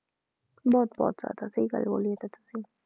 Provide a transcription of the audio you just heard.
ਬਹੁਤ ਬਹੁਤ ਜ਼ਿਆਦਾ ਸਹੀ ਗੱਲ ਬੋਲੀ ਇਹ ਤਾਂ ਤੁਸੀਂ